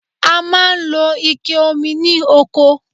A máa ń lo Ike omi ní oko